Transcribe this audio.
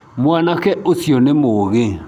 Mwanake ũcio nĩ mũũgĩ.